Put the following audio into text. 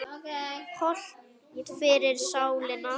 Hollt fyrir sálina.